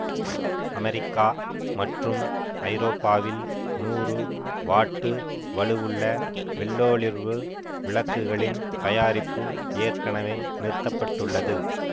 America மற்றும் ஐரோப்பாவில் நூறு வாட்டு வலுவுள்ள வெள்ளோளிர்வு விளக்குகளின் தயாரிப்பு ஏற்கனவே நிறுத்த பட்டுள்ளது